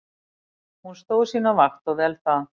Hún stóð sína vakt og vel það.